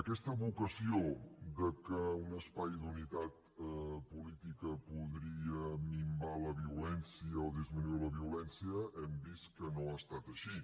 aquesta vocació de que un espai d’unitat política podria minvar la violència o disminuir la violència hem vist que no ha estat així